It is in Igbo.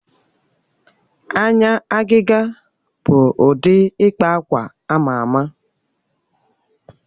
Anya agịga bụ ụdị ịkpa akwa ama ama.